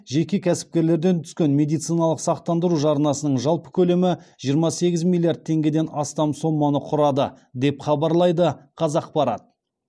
жеке кәсіпкерлерден түскен медициналық сақтандыру жарнасының жалпы көлемі жиырма сегіз миллиард теңгеден астам соманы құрады деп хабарлайды қазақпарат